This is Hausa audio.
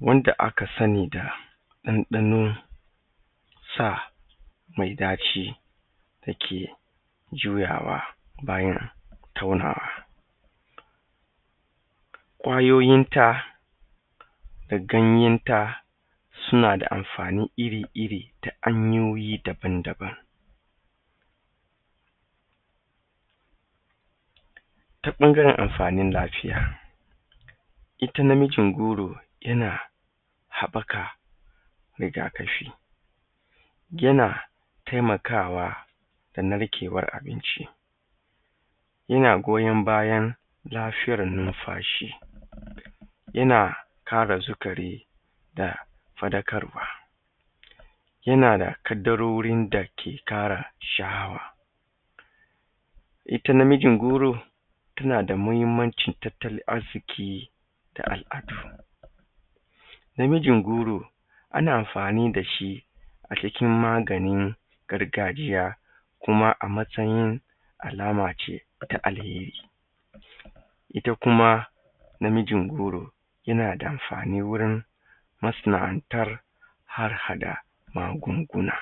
wanda aka sani da ɗanɗanonsa mai ɗaci da ke juyawa bayan taunawa. Ƙwayoyinta da ganyanta suna da amfani iri iri ta hanyoyi daban daban. Ta ɓangaren amfanin lafiya, ita namijin goro yana haɓɓaka rigakafi, yana taimakawa da narkewar abinci, yana goyan bayan lafiyar numfashi, yana kara sukari da faɗakarwa, yana da ƙaddarorin dake ƙara sha'awa. Ita namijin goro tana da muhimmanci tattalin arziki da al’adu. Namijin goro ana amfani da shi a cikin maganin gargajiya, kuma a matsayin alamace ta alheri. Ita kuma namijin goro yana da amfani wurin masana'antar har haɗa magunguna.